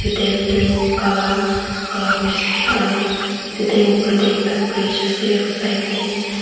dam tu kala kala huishey aro itu dam upor teh ekta bridge ase aro side deh--